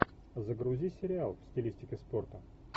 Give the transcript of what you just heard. загрузи сериал в стилистике спорта